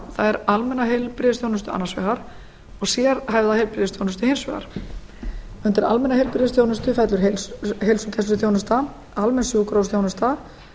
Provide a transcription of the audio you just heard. er almenna heilbrigðisþjónustu annars vegar og sérhæfða heilbrigðisþjónustu hins vegar undir almenna heilbrigðisþjónustu fellur heilsugæsluþjónustan almenn sjúkrahúsþjónusta